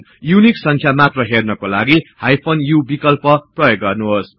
unique संख्या मात्र हेर्नकालागि हाइफेन u विकल्प प्रयोग गर्नुहोस्